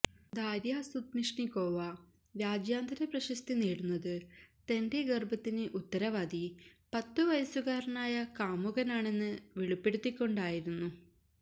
Darya Sudnishnikova രാജ്യാന്തര പ്രശസ്തി നേടുന്നത് തന്റെ ഗർഭത്തിന് ഉത്തരവാദി പത്തുവയസ്സുകാരനായ കാമുകനാണെന്ന് വെളിപ്പെടുത്തിക്കൊണ്ടായിരുന്നു